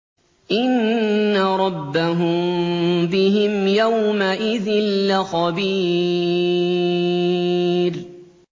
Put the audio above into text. إِنَّ رَبَّهُم بِهِمْ يَوْمَئِذٍ لَّخَبِيرٌ